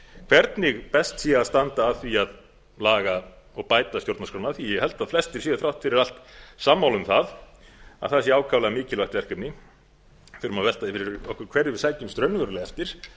hvernig best sé að standa að því að laga og bæta stjórnarskrána því að ég held að flestir séu þrátt fyrir allt sammála um að það sé ákaflega mikilvægt verkefni við þurfum að velta fyrir okkur hverju við sækjumst raunverulega eftir